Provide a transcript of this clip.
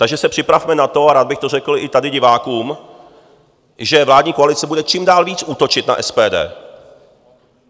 Takže se připravme na to, a rád bych to řekl i tady divákům, že vládní koalice bude čím dál víc útočit na SPD.